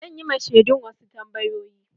Zan yi ma shedun wasu tambayoyi.